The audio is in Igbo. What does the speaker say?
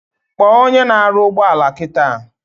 Kpo onye na aru ugboala kita!